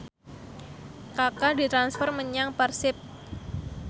Kaka ditransfer menyang Persib